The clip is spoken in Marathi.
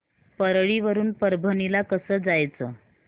परळी वरून परभणी ला कसं जायचं